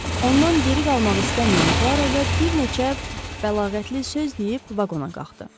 Ondan geri qalmaq istəməyən Poaroda bir neçə bəlağətli söz deyib vaqona qalxdı.